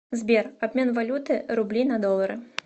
сбер обмен валюты рубли на доллары